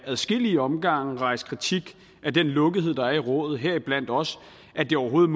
adskillige omgange rejst kritik af den lukkethed der er i rådet heriblandt også at det overhovedet